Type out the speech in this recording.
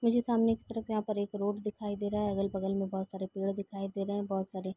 मुझे सामने की तरफ यहाँ पर एक रोड दिखाई दे रहा है। अगल-बगल में बहुत सारे पेड़ दिखाई दे रहे हैं । बहुत सारे --